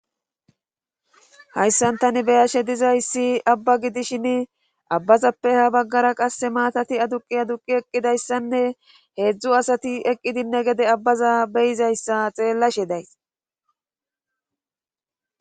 Hayssan tani beyashe dizayssi abba gidishin abbazappe ha baggara qasse maatati aduqi aduqi eqqidayssanne heedzdzu asati eqqidinne gede abbaza beyizayssa xeellashe days